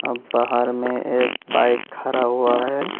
बाहर में एक बाईक खरा हुआ है।